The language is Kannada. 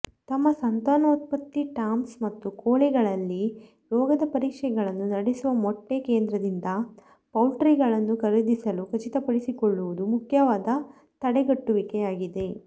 ತಮ್ಮ ಸಂತಾನೋತ್ಪತ್ತಿ ಟಾಮ್ಸ್ ಮತ್ತು ಕೋಳಿಗಳಲ್ಲಿ ರೋಗದ ಪರೀಕ್ಷೆಗಳನ್ನು ನಡೆಸುವ ಮೊಟ್ಟೆಕೇಂದ್ರದಿಂದ ಪೌಲ್ಟ್ಗಳನ್ನು ಖರೀದಿಸಲು ಖಚಿತಪಡಿಸಿಕೊಳ್ಳುವುದು ಮುಖ್ಯವಾದ ತಡೆಗಟ್ಟುವಿಕೆಯಾಗಿದೆ